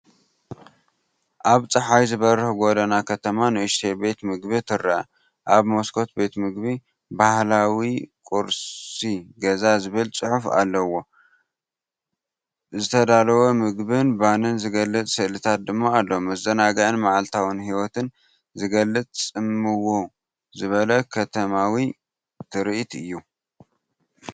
ኣብ ጸሓይ ዝበርህ ጎደና ከተማ ንእሽቶ ቤት መግቢ ትርአ። ኣብ መስኮት ቤት ምግቢ “ባህላዊ ቁርሲ ገዛ” ዝብል ጽሑፍ ኣለዎ፣ ዝተዳለወ ምግብን ባኒን ዝገልጽ ስእልታት ድማ ኣሎ። መዘናግዕን መዓልታዊ ህይወትን ዝገልጽ ጽምው ዝበለ ከተማዊ ትርኢት እዩ።